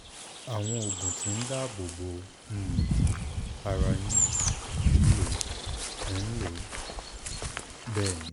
àwọn oògùn tí ń dáàbò bo um ara yín ń lò? ń lò? um bẹ́ẹ̀ ni